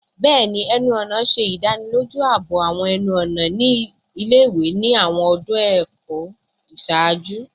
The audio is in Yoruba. Bẹẹni, ẹnu-ọna ṣe idaniloju aabo awọn ẹnu-ọna ile-iwe ni awọn ọdun ẹkọ iṣaaju